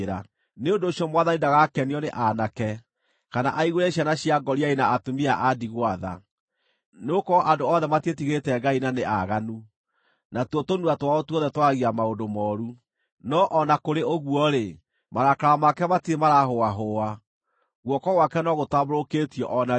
Nĩ ũndũ ũcio Mwathani ndagakenio nĩ aanake, kana aiguĩre ciana cia ngoriai na atumia a ndigwa tha, nĩgũkorwo andũ othe matiĩtigĩrĩte Ngai na nĩ aaganu, natuo tũnua twao tuothe twaragia maũndũ mooru. No o na kũrĩ ũguo-rĩ, marakara make matirĩ maraahũahũa, guoko gwake no gũtambũrũkĩtio o na rĩu.